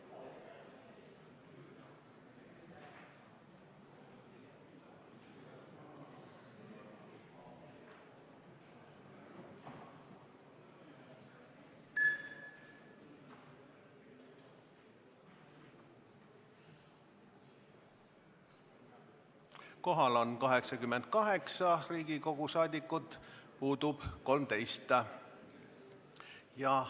Kohaloleku kontroll Kohal on 88 Riigikogu liiget, puudub 13.